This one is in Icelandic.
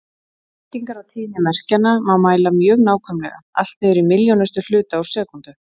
Breytingar á tíðni merkjanna má mæla mjög nákvæmlega, allt niður í milljónustu hluta úr sekúndu.